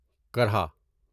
کرھا